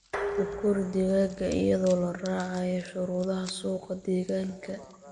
U kori digaagga iyadoo la raacayo shuruudaha suuqa deegaanka.